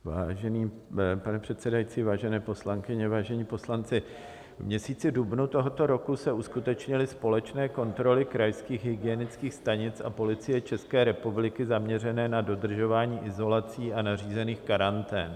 Vážený pane předsedající, vážené poslankyně, vážení poslanci, v měsíci dubnu tohoto roku se uskutečnily společné kontroly krajských hygienických stanic a Policie České republiky zaměřené na dodržování izolací a nařízených karantén.